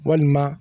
Walima